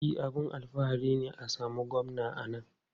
E, abin alfahari ne a samu Gwamna a nan.